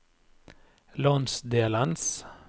landsdelens